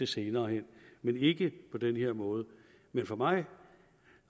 senere hen men ikke på den her måde men for mig